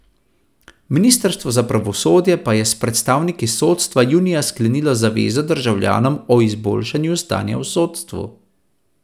Ministrstvo za pravosodje pa je s predstavniki sodstva junija sklenilo zavezo državljanom o izboljšanju stanja v sodstvu.